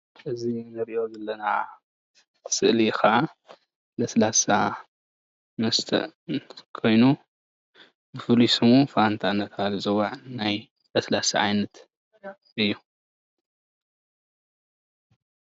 እዚ እንሪኦ ዘለና ስእሊ ከዓ ለስላሳ መስተ ኮይኑ ፍሉይ ስሙ ፋንታ እንዳተባሃለ ዝፅዋዕ ናይ ለስላሰ ዓይነት እዩ፡፡